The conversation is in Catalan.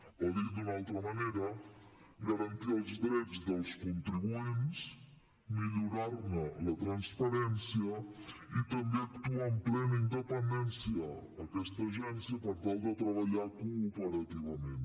o dit d’una altra manera garantir els drets dels contribuents millorar ne la transparència i també actuar amb plena independència aquesta agència per tal de treballar cooperativament